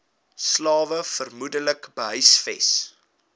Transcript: slawe vermoedelik gehuisves